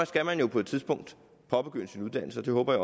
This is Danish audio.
skal man jo på et tidspunkt påbegynde sin uddannelse det håber